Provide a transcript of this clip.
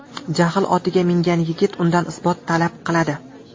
Jahl otiga mingan yigit undan isbot talab qiladi.